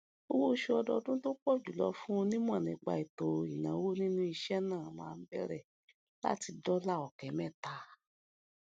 owó oṣù ọdọọdún tó pọ jùlọ fún onímọ nípa ètò ìnáwó nínú iṣẹ náà máa ń bẹrẹ láti dọlà ọkẹ mẹta